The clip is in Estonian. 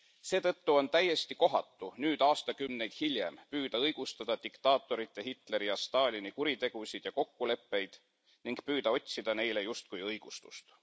Seetõttu on täiesti kohatu nüüd aastakümneid hiljem püüda õigustada diktaatorite Hitleri ja Stalini kuritegusid ja kokkuleppeid ning püüda otsida neile justkui õigustust.